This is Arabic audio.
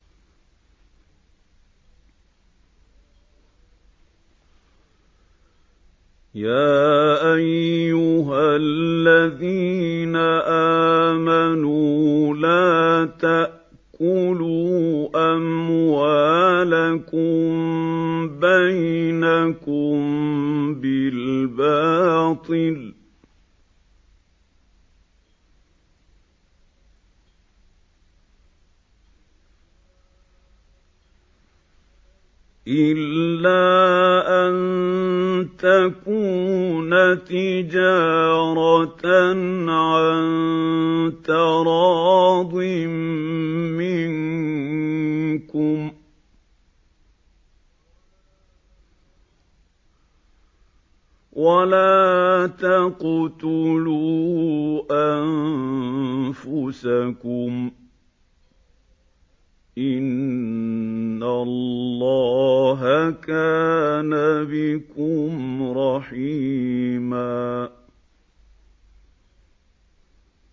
يَا أَيُّهَا الَّذِينَ آمَنُوا لَا تَأْكُلُوا أَمْوَالَكُم بَيْنَكُم بِالْبَاطِلِ إِلَّا أَن تَكُونَ تِجَارَةً عَن تَرَاضٍ مِّنكُمْ ۚ وَلَا تَقْتُلُوا أَنفُسَكُمْ ۚ إِنَّ اللَّهَ كَانَ بِكُمْ رَحِيمًا